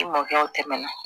I mɔkɛw tɛmɛna